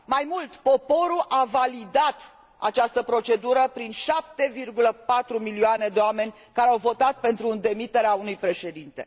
Mai mult, poporul a validat această procedură prin 7,4 milioane de oameni, care au votat pentru demiterea unui președinte.